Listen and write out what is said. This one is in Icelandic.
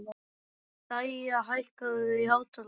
Dæja, hækkaðu í hátalaranum.